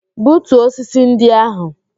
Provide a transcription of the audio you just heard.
Butuo osisi ndị ahụ!